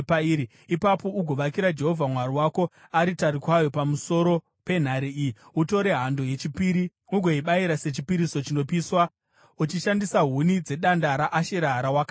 Ipapo ugovakira Jehovha Mwari wako aritari kwayo pamusoro penhare iyi. Utore hando yechipiri ugoibayira sechipiriso chinopiswa uchishandisa huni dzedanda raAshera rawakatema.”